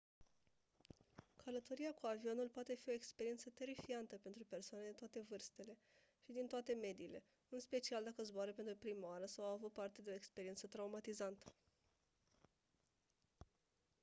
călătoria cu avionul poate fi o experiență terifiantă pentru persoane de toate vârstele și din toate mediile în special dacă zboară pentru prima oară sau au avut parte de o experiență traumatizantă